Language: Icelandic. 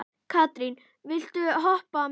Katrín, viltu hoppa með mér?